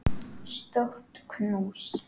Stórt knús.